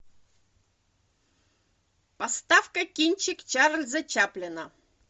поставь ка кинчик чарльза чаплина